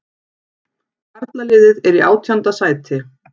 Karlaliðið er í átjánda sæti